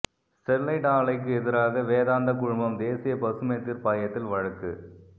Sterlite ஆலைக்கு எதிராக வேதாந்தா குழுமம் தேசிய பசுமை தீர்ப்பாயத்தில் வழக்கு